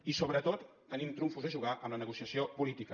i sobretot tenim trumfos a jugar amb la negociació política